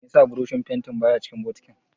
Meye yasa burushin fentin baya cikin bokitin?